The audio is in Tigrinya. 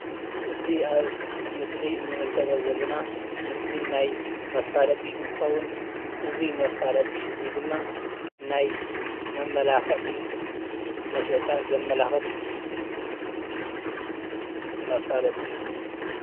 እዚ ኣብ ምስሊ እንምልከቶ ዘለና ምሰሊ ናይ መፋለጢ እንትከዉን አዚ መፋለጢ እዚ ድማ ናይ መማለክዒ መሸጣ ዘማላክት መፋለጢ እዩ፡፡